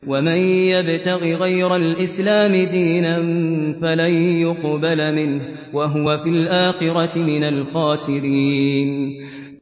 وَمَن يَبْتَغِ غَيْرَ الْإِسْلَامِ دِينًا فَلَن يُقْبَلَ مِنْهُ وَهُوَ فِي الْآخِرَةِ مِنَ الْخَاسِرِينَ